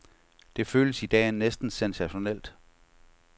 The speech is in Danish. Det føles i dag næsten sensationelt.